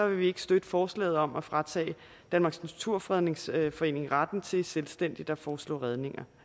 vi ikke støtte forslaget om at fratage danmarks naturfredningsforening retten til selvstændigt at foreslå fredninger